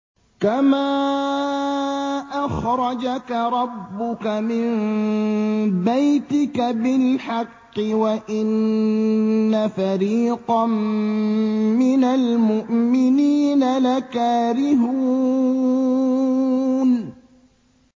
كَمَا أَخْرَجَكَ رَبُّكَ مِن بَيْتِكَ بِالْحَقِّ وَإِنَّ فَرِيقًا مِّنَ الْمُؤْمِنِينَ لَكَارِهُونَ